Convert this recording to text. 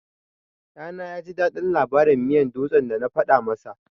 Ɗana yaji daɗin labarin miyan dutse da na faɗa masa.